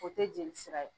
O tɛ jeli sira ye